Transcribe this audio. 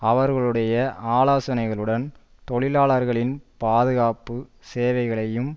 அவர்களுடைய ஆலோசனைகளுடன் தொழிலாளர்களின் பாதுகாப்பு சேவைகளையும்